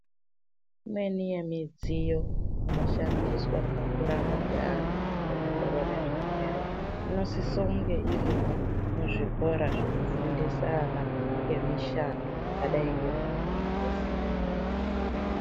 Imweni yemidziyo inoshandiswa pakurapa kweantu kuongorore zvirwere inosise kunge irimo muzvikora zvinofundisa ana emishando zvakadai ngekumayunivhesiti.